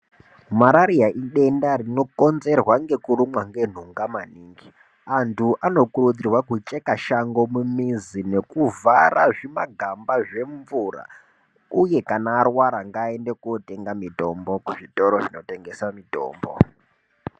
Marariya idenda rinokinzerwa ngekurumwa ngenhunga maningi , antu anokurudzirwa kucheka shango mumizi nekuvhara zvimangamba zvemvura uye kana arwara ngaaende kotenga mitombo muzvitoro zvinotengesa mitombo.